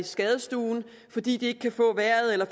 skadestuen fordi de ikke kan få vejret eller